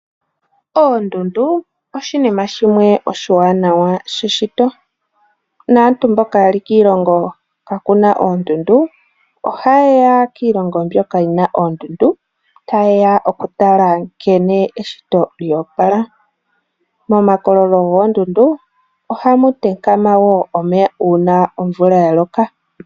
Oondundu oshinima shimwe oshiwanawa sheshito. Naantu mboka yeli kiilongo kaaku na oondundu, ohaye ya kiilongo mbyoka yi na oondundu, taye ya okutala nkene eshito lyoopala. Momakololo goondundu ohamu thikama wo omeya uuna omvula ya loka.